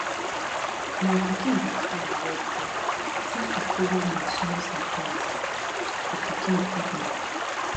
my pikin dey fine wellwell since we follow nurse nurse advice for pikin feeding